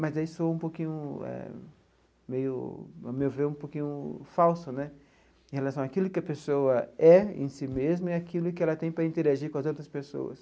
Mas aí soa um pouquinho eh meio ao meu ver é um pouquinho falso né em relação àquilo que a pessoa é em si mesma e aquilo que ela tem para interagir com as outras pessoas.